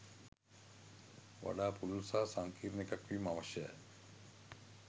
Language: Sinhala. වඩා පුළුල් සහ සංකීර්ණ එකක් වීම අවශ්‍යය.